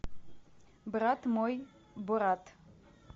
брат мой борат